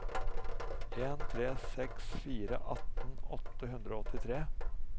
en tre seks fire atten åtte hundre og åttitre